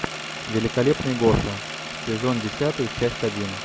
великолепный гоша сезон десятый часть один